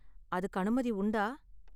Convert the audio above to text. அதுக்கு அனுமதி உண்டா?